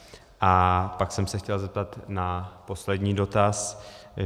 A pak jsem se chtěl zeptat na poslední dotaz.